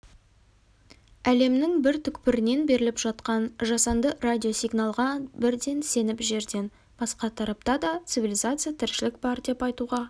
әлемнің бір түкпірінен беріліп жатқан жасанды радио-сигналға бірден сеніп жерден басқа тарапта да цивилизация тіршілік бар деп айтуға